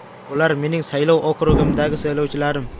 Bular mening saylov okrugimdagi saylovchilarim.